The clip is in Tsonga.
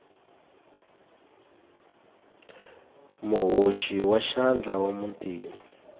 muhoxi wa xandla wa muntima